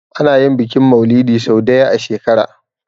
Ana yin bikin mauludi sau daya a shekara